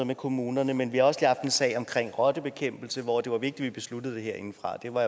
med kommunerne men vi har også lige haft en sag omkring rottebekæmpelse hvor det var vigtigt besluttede det herindefra det var